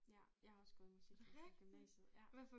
Ja jeg har også gået i musikklasse i gymnasiet ja